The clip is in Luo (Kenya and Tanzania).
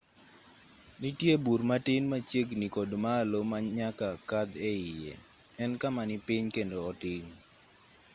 nitie bur matin machiegini kod malo ma nyaka kadh eiye en kama ni piny kendo otin